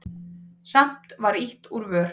Samt var ýtt úr vör.